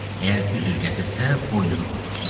Əgər üzr gətirsə, boynunu vurdursun.